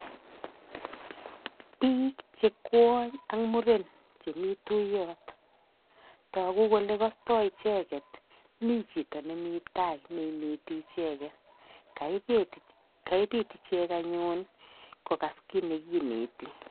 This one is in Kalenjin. Bik che kwonny ak muren chemi tuiyot. Tagu kole kastoi icheget, mi chito ne mi tai ne ineti icheget. Kaebit ichek anyun kogas kit ne kineti.